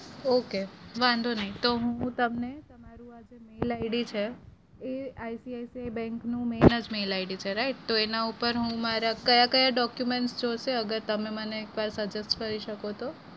Okay વાંધો નહિ. તો હું તમને તમારું આજે emailI'D છે એ ICICI bank નું main જ mailI'D છે right? તો એના ઉપર હું મારા કયા-કયા document જોવસે? અગર તમે મને એક વાર suggest કરી શકો તો?